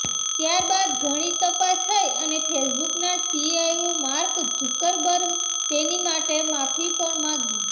ત્યાર બાદ ઘણી તપાસ થઈ અને ફેસબુકના સીઈઓ માર્ક ઝુકરબર્ગે તેની માટે માફી પણ માંગી